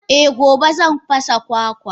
Eh gobe zan fasa kwakwa.